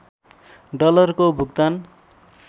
डलरको भुक्तान